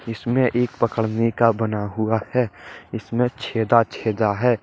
इसमें एक पकड़ने का बन हुआ हैं इसमें छेदा छेदा है।